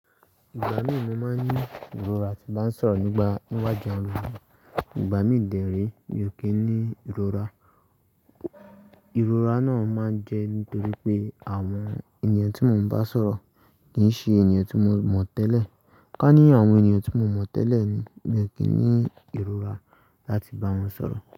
Ìgbà mí mo máa ń ní ìrora tí bá ń sọ̀rọ̀ nígbà níwájú àwọn ènìyàn, ìgbà mí de rẹ́ mi ò kí ń ní ìrora. Ìrora náà máa ń jẹ́ nítorí pé àwọn ènìyàn tí mo ń bá sọ̀rọ̀ kì í ṣe ènìyàn tí mo mọ̀ tẹ́lẹ̀. Ká ní àwọn ènìyàn tí mo mọ̀ tẹ́lẹ̀ ni, mi ò kí ń ní ìrora láti bá wọn sọ̀rọ̀.